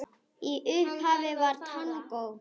Í upphafi var tangó.